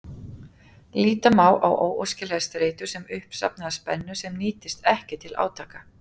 Líta má á óæskilega streitu sem uppsafnaða spennu sem nýtist ekki til átaka.